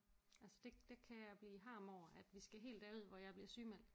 Altså det det kan jeg blive harm over at vi skal helt derud hvor jeg bliver sygemeldt